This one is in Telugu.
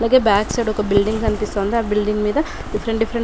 అలాగే బ్యాక్ సైడ్ ఒక బిల్డింగ్ కనిపిస్తోంది ఆ బిల్డింగ్ మీద డీఫెరెంట్ డీఫెరెంట్ --.